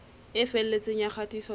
e felletseng ya kgatiso tsa